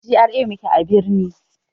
A GRA muke a birni